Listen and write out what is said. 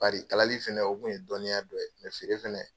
Bari kalali fɛnɛ o kun ye dɔnniya dɔ feere fɛnɛ